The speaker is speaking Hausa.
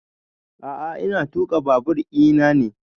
A'a ina tuƙa babur ina ne